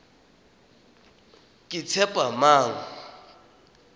ketshepamang